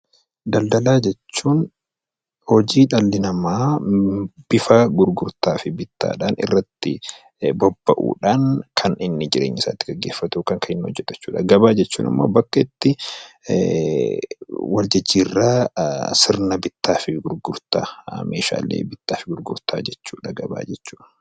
Daldalaa jechuun hojii dhalli namaa bifa gurgurtaa fi bittaadhaan irratti bobba'uudhaan kan inni jireenya isaa ittiin gaggeeffatu yookaan kan inni hojjetu jechuudha. Gabaa jechuun ammoo bakka itti wal jijjiirraa sirna bittaa fi gurgurtaa meeshaalee bittaa fi gurgurtaa jechuudha gabaa jechuun.